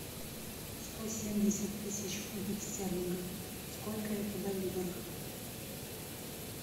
сто семьдесят тысяч фунтов стерлингов сколько это боливаров